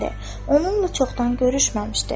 Onunla çoxdan görüşməmişdi.